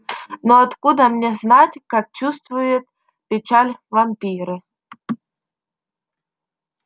но откуда мне знать как чувствуют печаль вампиры